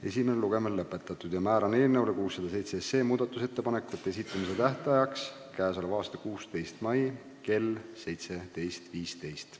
Esimene lugemine on lõpetatud ja määran eelnõu 607 muudatusettepanekute esitamise tähtajaks k.a 16. mai kell 17.15.